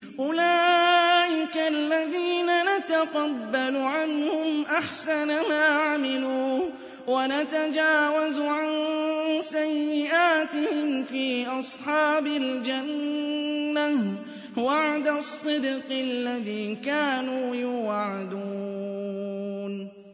أُولَٰئِكَ الَّذِينَ نَتَقَبَّلُ عَنْهُمْ أَحْسَنَ مَا عَمِلُوا وَنَتَجَاوَزُ عَن سَيِّئَاتِهِمْ فِي أَصْحَابِ الْجَنَّةِ ۖ وَعْدَ الصِّدْقِ الَّذِي كَانُوا يُوعَدُونَ